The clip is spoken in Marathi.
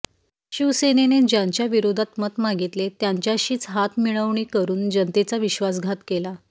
शिवसेनेने ज्यांच्या विरोधात मत मागितले त्यांच्याशीच हात मिळवणी करुन जनतेचा विश्वासघात केला